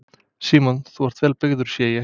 Símon: Þú ert vel byrgður sé ég?